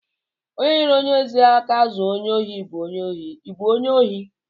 Onye nyere onye ohi aka zuo ohi bụ onye ohi, I bụ onye ohi!